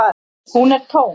Hún er tóm.